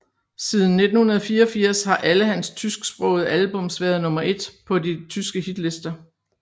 Siden 1984 har alle hans tysksprogede albums ofte været nummer et på de tyske hitlister